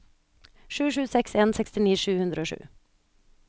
sju sju seks en sekstini sju hundre og sju